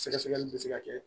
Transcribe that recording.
Sɛgɛsɛgɛli bɛ se ka kɛ